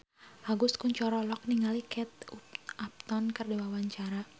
Agus Kuncoro olohok ningali Kate Upton keur diwawancara